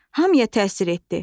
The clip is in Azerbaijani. Hamıya təsir etdi!